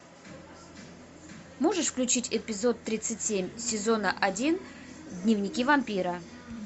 можешь включить эпизод тридцать семь сезона один дневники вампира